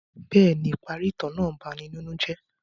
Bẹẹni, ipari itan naa ń bani ninu jẹ.